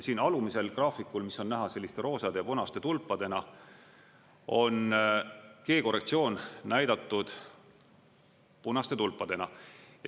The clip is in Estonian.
Siin alumisel graafikul, mis on näha selliste roosade ja punaste tulpadena, on G-korrektsioon näidatud punaste tulpadena.